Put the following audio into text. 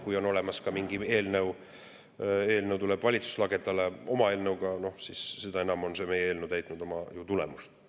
Või kui on olemas ka mingi muu eelnõu, kui tuleb valitsus lagedale oma eelnõuga, siis on see meie eelnõu ikkagi täitnud oma.